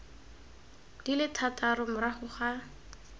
di le thataro morago ga